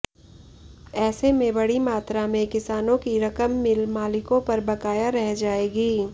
ऐसे में बड़ी मात्रा में किसानों की रकम मिल मालिकों पर बकाया रह जाएगी